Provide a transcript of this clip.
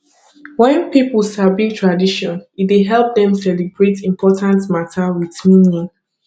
wen pipo sabi tradition e dey help dem celebrate important mata wit meaning